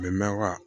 A bɛ mɛn wa